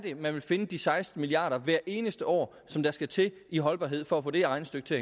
man vil finde de seksten milliard kroner hvert eneste år som der skal til i holdbarhed for at få det her regnestykke til